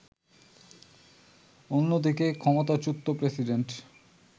অন্যদিকে, ক্ষমতাচ্যূত প্রেসিডেন্ট